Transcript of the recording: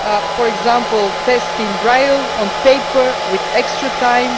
for example, tests in braille, on paper, with extra time.